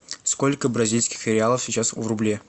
сколько бразильских реалов сейчас в рубле